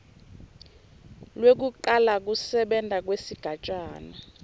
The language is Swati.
lwekucala kusebenta kwesigatjana